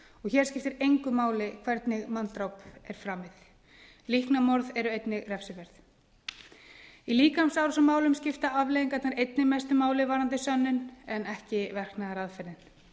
hér skiptir engu máli hvernig manndráp er framið líknarmorð eru einnig refsiverð í líkamsárásarmálum skipta afleiðingarnar einnig mestu máli varðandi sönnun en ekki verknaðaraðferðin